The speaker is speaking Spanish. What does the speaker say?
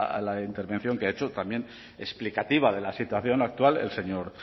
la intervención que ha hecho también explicativa de la situación actual el señor